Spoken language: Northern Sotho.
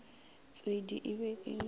tshwedi e be e le